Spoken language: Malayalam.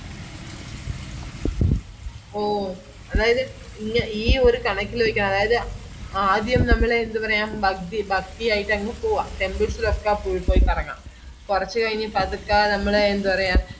ഓ അതായത് ഈ ഒരു കണക്കിലേക്ക് അതായത് ആദ്യം നമ്മൾ എന്താ പറയാ പഗ്ബി ആയിട്ടങ്ട് പോവാം temples ലോക്കെ പോയി പോയി കറങ്ങാം കൊറച് കൈഞ് പതുക്ക നമ്മള് എന്താ പറയാ